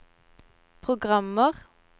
programmer